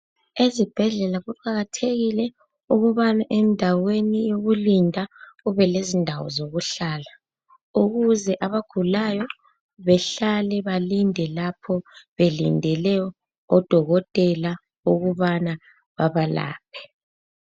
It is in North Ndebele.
Ezibhedlela kuqakathekile ukuba endaweni yokulinda kubele zindawo zokuhlala ukuze abagulayo bahlale, balinde lapho belinde odokotela ukubana babalaphe.